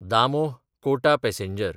Damoh Kota passenger